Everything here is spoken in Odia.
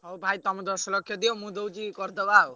ହଁ ଭାଇ ତମେ ଦଶ ଲକ୍ଷ ଦିଅ ମୁଁ ଦଉଛି କରିଦବା ଆଉ।